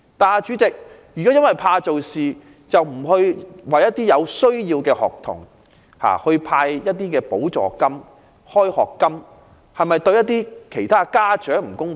可是，如果因為怕做事而不向有需要的學童派發補助金或開學金，是否對某些家長不公平？